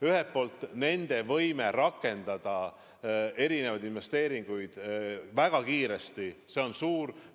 Ühelt poolt on nende võime väga kiiresti rakendada erinevaid investeeringuid suur.